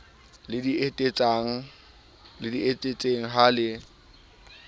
le di etetseng ha le